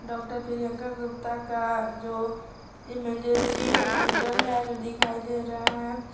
Doctor Priyanka Gupta का जो emergency hospital है जो दिखाई दे रहा है।